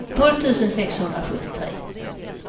tolv tusen sexhundrasjuttiotre